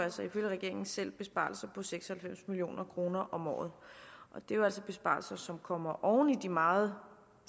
ifølge regeringen selv besparelser på seks og halvfems million kroner om året og det er altså besparelser som kommer oven i de meget